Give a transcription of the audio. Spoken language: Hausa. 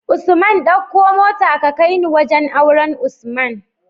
Usman ɗauko mota ka kaini wajan auren usman